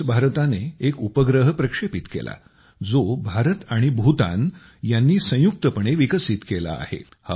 कालच भारताने एक उपग्रह प्रक्षेपित केला जो भारत आणि भूतान यांनी संयुक्तपणे विकसित केला आहे